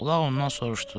Ulaq ondan soruşdu.